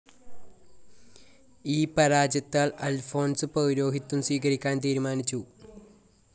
ഈ പരാജത്താൽ അൽഫോൻസ് പൗരോഹിത്യം സ്വീകരിക്കാൻ തീരുമാനിച്ചു.